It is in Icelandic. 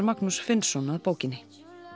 Magnús Finnsson að bókinni